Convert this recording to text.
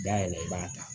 Da yɛlɛ i b'a ta